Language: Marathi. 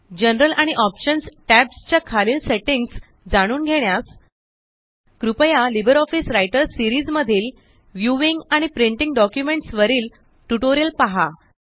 जनरल आणिOptions टॅब्स च्या खालील सेटिंग्स जाणून घेण्यास कृपया लिब्रिऑफिस राइटर सिरीज मधील व्ह्यूइंग एंड प्रिंटिंग डॉक्युमेंट्स वरील टयूटोरियल पहा